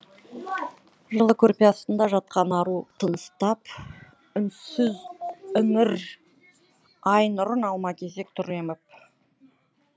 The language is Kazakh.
жылы көрпе астында жатқан ару тыныстап үнсіз іңір ай нұрын алма кезек тұр еміп